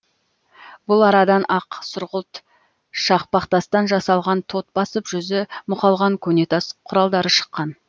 бұл арадан ақ сұрғылт шақпақтастан жасалған тот басып жүзі мұқалған көне тас құралдары шыққан